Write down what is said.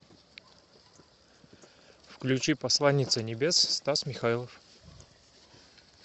включи посланница небес стас михайлов